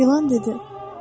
İlan dedi.